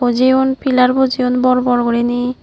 jiyun pilar bojeyon bor bor gurine.